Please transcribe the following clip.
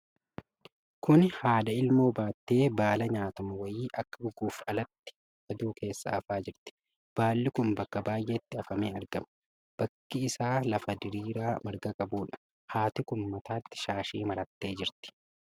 Kuni haadha ilmoo baattee baala nyaatamu wayii akka goguuf alatti aduu keessa afaa jirti. Baalli kun bakka baay'eettii afamee argama. Bakki isaa lafa diriiraa marga qabuudha. Haati kun mataatti shaashii marattee jirti.